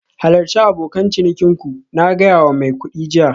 Halarci abokan cinikin ku, na gaya wa mai kuɗi jiya